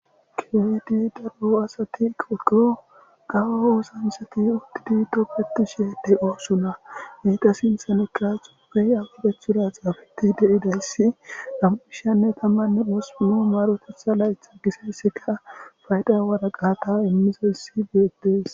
keydi daro asati qokko gawa oosa misati udtidi toppeti sheede oosuna heyta sinthanekka xuubey agubechuda xaafeti deidayssi nam7ishanne tammanne osumu maarotetha laytha giseessika fayda waraqata immizayssi geetees